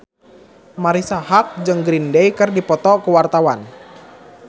Marisa Haque jeung Green Day keur dipoto ku wartawan